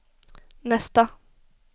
nästa